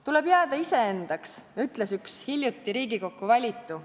"Tuleb jääda iseendaks," ütles üks hiljuti Riigikokku valitu.